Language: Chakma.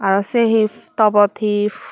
arow siye he topot he.